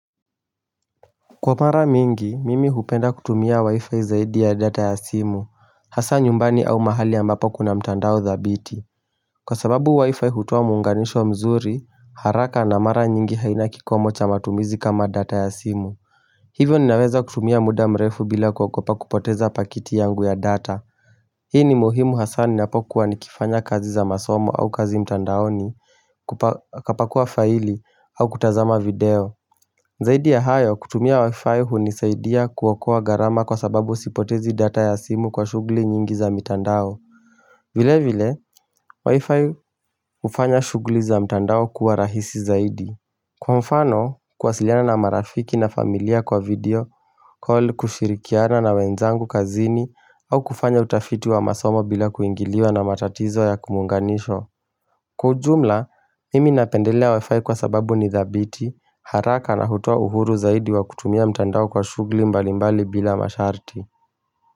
Kwa mara mingi, mimi hupenda kutumia wi-fi zaidi ya data ya simu, hasa nyumbani au mahali ambapo kuna mtandao dhabiti Kwa sababu wi-fi hutoa muunganisho mzuri, haraka na mara nyingi haina kikomo cha matumizi kama data ya simu Hivyo ninaweza kutumia muda mrefu bila kuogopa kupoteza pakiti yangu ya data Hii ni muhimu hasa ninapokuwa nikifanya kazi za masomo au kazi mtandaoni, kapakuwa faili, au kutazama video Zaidi ya hayo kutumia wifi hunisaidia kuokoa garama kwa sababu sipotezi data ya simu kwa shuguli nyingi za mitandao vile vile, wifi hufanya shuguli za mitandao kuwa rahisi zaidi Kwa mfano, kuwasiliana na marafiki na familia kwa video, call kushirikiana na wenzangu kazini au kufanya utafiti wa masomo bila kuingiliwa na matatizo ya kumuunganisho Kwa ujumla, mimi napendelea wifi kwa sababu ni dhabiti, haraka na hutoa uhuru zaidi wa kutumia mtandao kwa shuguli mbali mbali bila masharti.